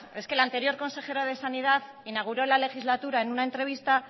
es que el anterior consejero de sanidad inauguró la legislatura en una entrevista